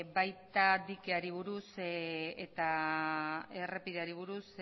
baita dikeari buruz eta errepideari buruz